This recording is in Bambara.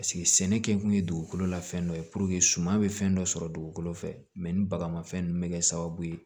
sɛnɛ kɛ kun ye dugukolo la fɛn dɔ ye suma bɛ fɛn dɔ sɔrɔ dugukolo fɛ ni bagamafɛn ninnu bɛ kɛ sababu ye